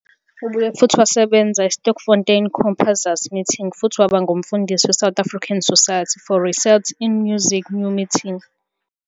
Ubuye futhi wasebenza eSterkfontein Composers Meeting futhi waba ngumfundisi weSouth African Society for Research in Music's new meeting.